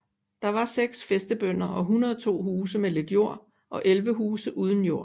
Der var seks fæstebønder og 102 huse med lidt jord og 11 huse uden jord